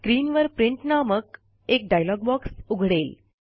स्क्रीनवर प्रिंट नामक एक डायलॉग बॉक्स उघडेल